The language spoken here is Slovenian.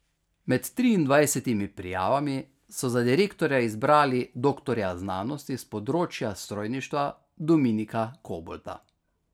Med triindvajsetimi prijavami so za direktorja izbrali doktorja znanosti s področja strojništva Dominika Kobolda.